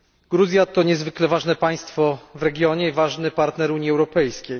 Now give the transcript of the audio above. Gruzja to niezwykle ważne państwo w regionie i ważny partner Unii Europejskiej.